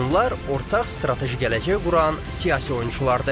Onlar ortaq strateji gələcək quran siyasi oyunçulardır.